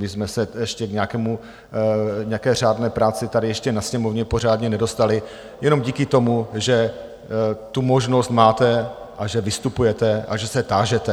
My jsme se ještě k nějaké řádné práci tady ještě na Sněmovně pořádně nedostali jenom díky tomu, že tu možnost máte a že vystupujete a že se tážete.